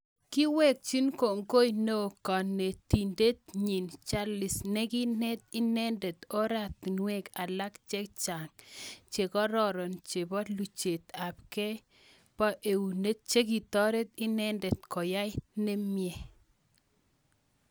Kewekchi kongoi neo kanetindet nyiin jalis nekineet inendet ortinwek alak chechang chekororon chepo luchet ab kei poo eunek chekitoret inendet koyai nimie